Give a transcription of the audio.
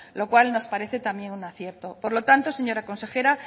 lo cual nos parece también un acierto por lo tanto señora consejera